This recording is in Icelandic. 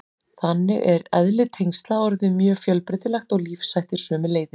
Þannig er eðli tengsla orðið mjög fjölbreytilegt og lífshættir sömuleiðis.